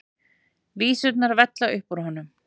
Vísurnar vella upp úr honum.